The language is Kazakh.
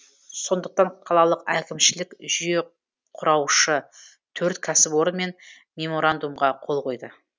сондықтан қалалық әкімшілік жүйеқұраушы төрт кәсіпорынмен меморандумға қол қойды